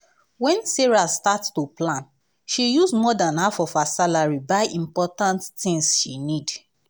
when sarah start to plan she use more than half of her salary buy important tins she need.